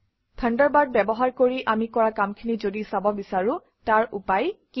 Thunderbird ব্যৱহাৰ কৰি আমি কৰা কামখিনি যদি চাব বিচাৰোঁ তাৰ উপায় কি